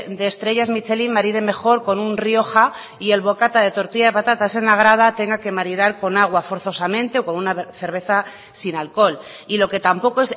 de estrellas michelín maride mejor con un rioja y el bocata de tortilla de patatas en la grada tenga que maridar con agua forzosamente o con una cerveza sin alcohol y lo que tampoco